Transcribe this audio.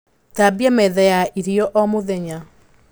Thambia metha ya irio o mũthenya